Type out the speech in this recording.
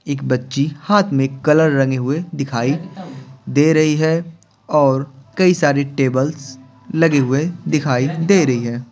एक बच्ची हाथ में कलर रंगे हुए दिखाई दे रही है और कई सारे टेबल्स लगे हुए दिखाई दे रही है।